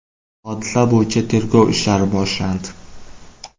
Hodisa bo‘yicha tergov ishlari boshlandi.